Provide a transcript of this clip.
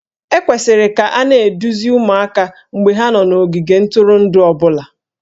E kwesịrị ka a na-eduzi ụmụaka mgbe ha nọ n'ogige ntụrụndụ ọ bụla